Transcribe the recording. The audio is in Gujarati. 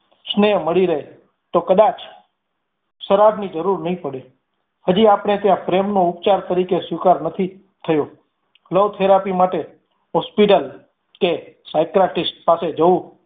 સ્નેહ મળી રે તો કદાચ શરાબની જરૂર નઈ પડે. હાજી આપણે ત્યાં પ્રેમ નો ઉપચાર તરીકે સ્વીકાર નથી થયો love therapy માટે hospital કે psychiatrist પાસે જવું